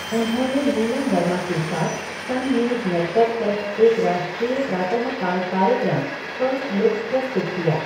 उन्होंने नीलम वर्मा के साथ सन न्यूज़ नेटवर्क पर एक राष्ट्रीय प्रातःकाल कार्यक्रम, फर्स्ट लुक प्रस्तुत किया।